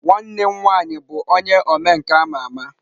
Nwanne m nwanyi bu onye omenka ama ama.